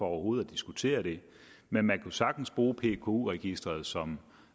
overhovedet at diskutere det men man kunne sagtens bruge pku registeret som